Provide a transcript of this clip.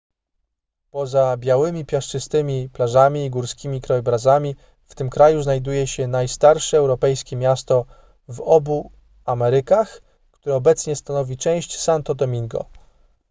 poza białymi piaszczystymi plażami i górskimi krajobrazami w tym kraju znajduje się najstarsze europejskie miasto w obu amerykach które obecnie stanowi część santo domingo